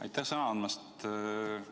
Aitäh sõna andmast!